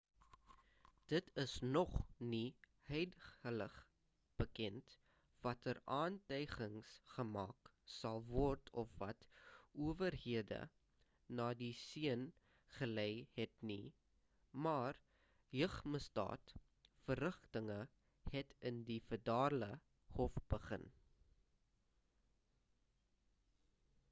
dit is nog nie huidiglik bekend watter aantygings gemaak sal word of wat owerhede na die seun gelei het nie maar jeugmisdaad-verrigtinge het in die federale hof begin